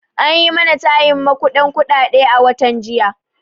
An yi mana tayin maƙuden kuɗaɗe a watan jiya